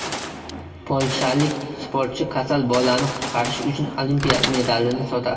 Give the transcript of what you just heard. Polshalik sportchi kasal bolani qutqarish uchun Olimpiya medalini sotadi.